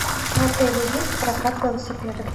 в отеле есть прокат велосипедов